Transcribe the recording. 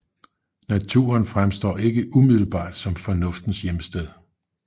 Naturen fremstår ikke umiddelbart som Fornuftens hjemsted